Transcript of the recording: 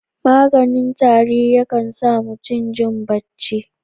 Maganin tari yakan sa mutum jin bacci.